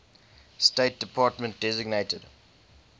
state department designated